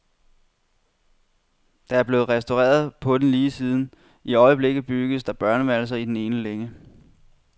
Der er blevet restaureret på den lige siden, i øjeblikket bygges der børneværelser i den ene længe.